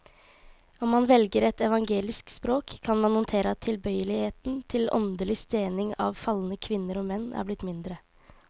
Om man velger et evangelisk språk, kan man notere at tilbøyeligheten til åndelig stening av falne kvinner og menn er blitt mindre.